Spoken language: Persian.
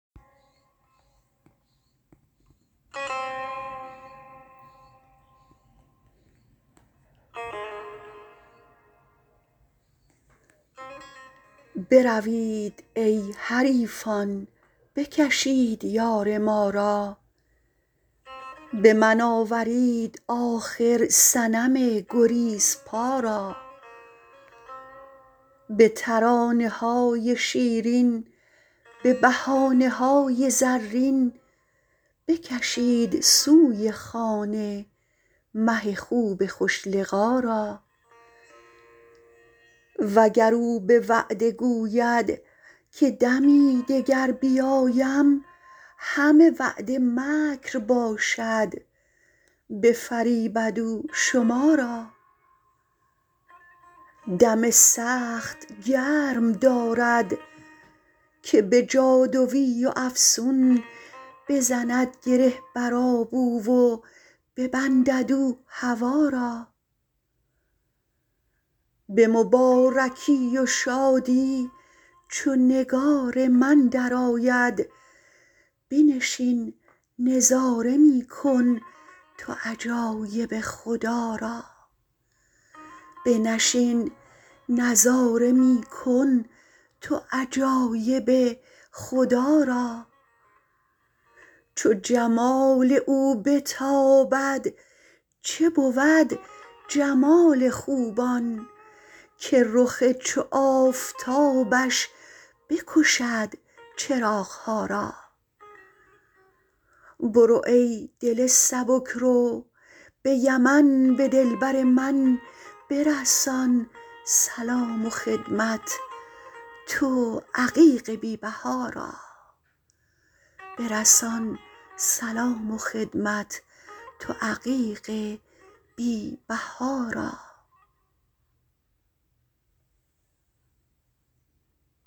بروید ای حریفان بکشید یار ما را به من آورید آخر صنم گریزپا را به ترانه های شیرین به بهانه های زرین بکشید سوی خانه مه خوب خوش لقا را وگر او به وعده گوید که دمی دگر بیایم همه وعده مکر باشد بفریبد او شما را دم سخت گرم دارد که به جادوی و افسون بزند گره بر آب او و ببندد او هوا را به مبارکی و شادی چو نگار من درآید بنشین نظاره می کن تو عجایب خدا را چو جمال او بتابد چه بود جمال خوبان که رخ چو آفتابش بکشد چراغ ها را برو ای دل سبک رو به یمن به دلبر من برسان سلام و خدمت تو عقیق بی بها را